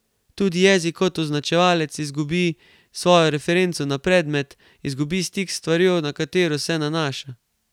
Tudi jezik kot označevalec izgubi svojo referenco na predmet, izgubi stik s stvarjo, na katero se nanaša.